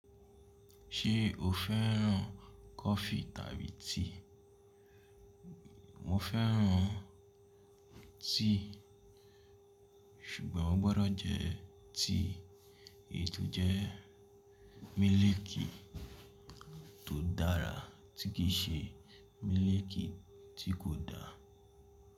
Ṣé o fẹ́ràn coffee tàbí tea? Mo fẹ́ràn tea. Ṣùgbọ́n o gbọ́dọ̀ jẹ tea èyí to jẹ́ mílìkì tó dára tí kì í ṣe mílìkì tí kò da.